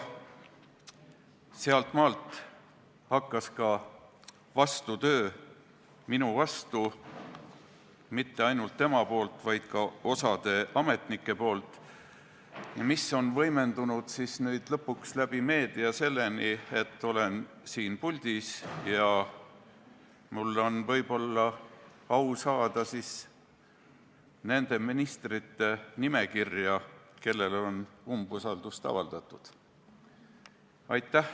Sealtmaalt hakkas ka vastutöö minu vastu, mitte ainult tema poolt, vaid ka osa ametnike poolt, mis on lõpuks meedia kaudu võimendunud selleni, et olen siin puldis ja mul on võib-olla au saada nende ministrite nimekirja, kellele on umbusaldust avaldatud.